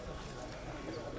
Yəni saat başı.